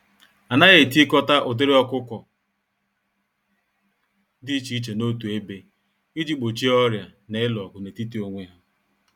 Anaghị etikọta ụdịrị ọkụkọ dị iche iche n'otu ebe, iji gbochie ọrịa na ịlụ ọgụ n'etiti onwe ha.